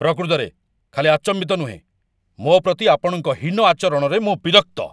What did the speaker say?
ପ୍ରକୃତରେ, ଖାଲି ଆଚମ୍ବିତ ନୁହେଁ, ମୋ ପ୍ରତି ଆପଣଙ୍କ ହୀନ ଆଚରଣରେ ମୁଁ ବିରକ୍ତ।